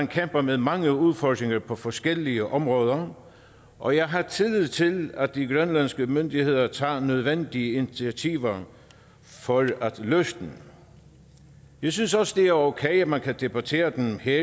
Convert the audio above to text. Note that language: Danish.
kæmper med mange udfordringer på forskellige områder og jeg har tillid til at de grønlandske myndigheder tager nødvendige initiativer for at løse dem jeg synes også det er okay at man kan debattere dem her